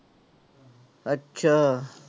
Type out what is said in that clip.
ਅੱਛਾ।